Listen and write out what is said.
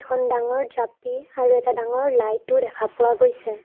এখন ডাঙৰ জাপি আৰু এটা ডাঙৰ লাইটো দেখা পোৱা গৈছে।